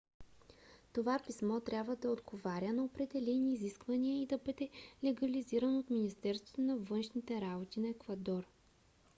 това писмо трябва да отговаря на определени изисквания и да бъде легализирано от министерството на външните работи на еквадор